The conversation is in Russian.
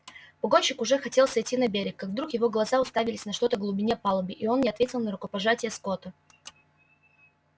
погонщик уже хотел сойти на берег как вдруг его глаза уставились на что то в глубине палубы и он не ответил на рукопожатие скотта